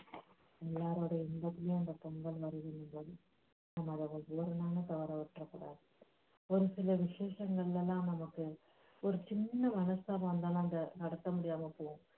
எல்லாருடைய இன்பத்திலும் அந்தப் பொங்கல் வருது இன்பம் நம்ம அதை ஒரு நாளும் தவற விட்டுறக்கூடாது ஒரு சில விஷேசங்களெல்லாம் நமக்கு ஒரு சின்ன மனஸ்தாபம் வந்தாலும் அந்த